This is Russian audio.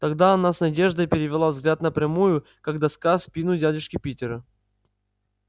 тогда она с надеждой перевела взгляд на прямую как доска спину дядюшки питера